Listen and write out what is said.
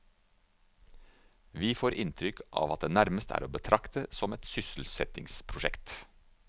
Vi får inntrykk av at det nærmest er å betrakte som et sysselsettingsprosjekt.